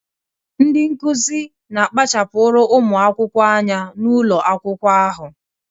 Ndị Nkụzi na kpachapuru ụmụ akwụkwọ anya n'ụlọ akwụkwọ ahụ